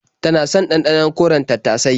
Tana son ɗanɗanon koren tattasai.